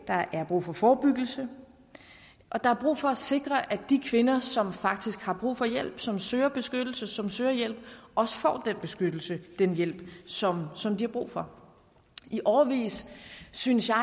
der er brug for forebyggelse og der er brug for at sikre at de kvinder som faktisk har brug for hjælp som søger beskyttelse som søger hjælp også får den beskyttelse den hjælp som som de har brug for i årevis synes jeg